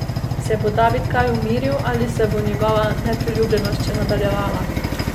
Se bo David kaj umiril ali se bo njegova nepriljubljenost še nadaljevala?